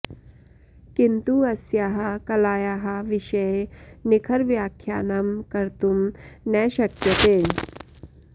किन्तु अस्याः कलायाः विषये निखरव्याख्यानं कर्तुं न शक्यते